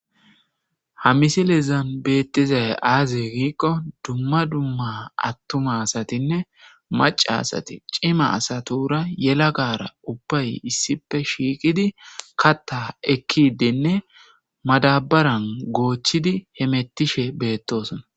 Ha misileza betizays aze gikon dumma dumma atuma asatinne maca asat cima asatura gelagara ubbay issippe shiqid kata ekide madabaran gochid hemetishe betetes.